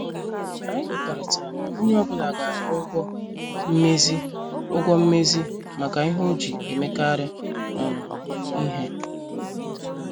Anyị kwekọrịtara na onye ọ bụla ga- akwụ ụgwọ mmezi ụgwọ mmezi maka ihe ọ ji emekari um ihe.